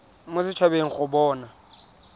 mo set habeng go bona